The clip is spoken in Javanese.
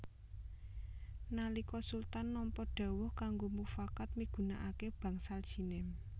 Nalika Sultan nampa dhawuh kanggo mufakat migunakaké Bangsal Jinem